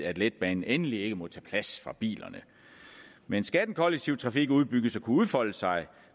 at letbanen endelig ikke måtte tage plads fra bilerne men skal den kollektive trafik udbygges og kunne udfolde sig